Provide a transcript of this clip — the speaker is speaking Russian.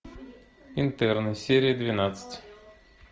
интерны серия двенадцать